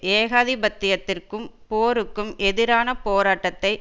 ஏகாதிபத்தியத்திற்கும் போருக்கும் எதிரான போராட்டத்தை